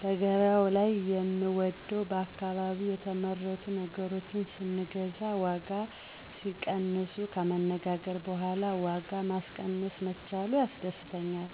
በገበያው ላይ የምወደው በአካባቢ የተመረቱ ነገሮችን ስንገዛ ዋጋ ሲቀንሱ፣ ከመነጋገር በኋላ ዋጋ ማስቀነስ መቻሉ ያስደስተኛል,